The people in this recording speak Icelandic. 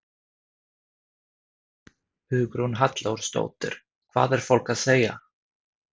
Hugrún Halldórsdóttir: Hvað er fólk að segja?